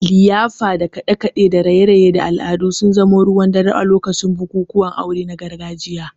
liyafa da kaɗe-kaɗe da raye-raye da al'adu sun zama ruwan dare a lokacin bukukuwan aure na gargajiya.